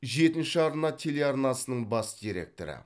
жетінші арна телеарнасының бас директоры